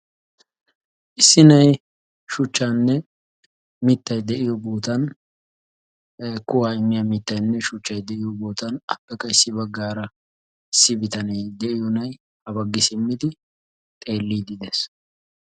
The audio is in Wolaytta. Issi na'ay mittayinne shuchcay de'iyo sohuwan haa simmiddi xeelliddi de'ees.